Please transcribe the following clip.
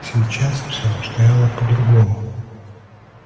сейчас всё обстояло по-другому